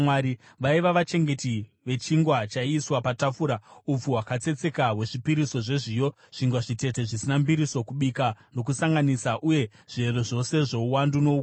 Vaiva vachengeti vechingwa chaiiswa patafura, upfu hwakatsetseka hwezvipiriso zvezviyo, zvingwa zvitete zvisina mbiriso, kubika nokusanganisa, uye zviero zvose zvouwandu noukuru.